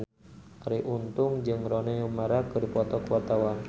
Arie Untung jeung Rooney Mara keur dipoto ku wartawan